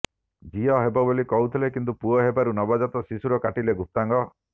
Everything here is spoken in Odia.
ଝିଅ ହେବ ବୋଲି କହିଥିଲେ କିନ୍ତୁ ପୁଅ ହେବାରୁ ନବଜାତ ଶିଶୁର କାଟିଲେ ଗୁପ୍ତାଙ୍ଗ